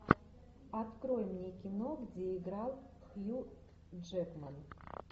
открой мне кино где играл хью джекман